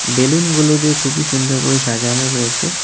বেলুনগুলো দিয়ে খুবই সুন্দর করে সাজানো রয়েছে.